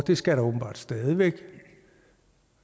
det skal der åbenbart stadig væk